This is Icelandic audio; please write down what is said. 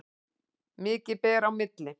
Mikið ber á milli.